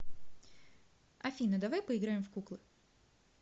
афина давай поиграем в куклы